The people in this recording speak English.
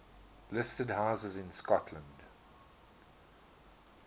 listed houses in scotland